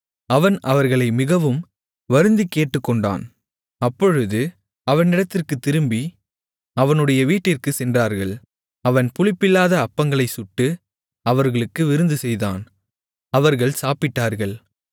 அவன் அவர்களை மிகவும் வருந்திக்கேட்டுக்கொண்டான் அப்பொழுது அவனிடத்திற்குத் திரும்பி அவனுடைய வீட்டிற்குச் சென்றார்கள் அவன் புளிப்பில்லாத அப்பங்களைச் சுட்டு அவர்களுக்கு விருந்துசெய்தான் அவர்கள் சாப்பிட்டார்கள்